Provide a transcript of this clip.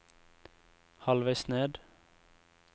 halvveis ned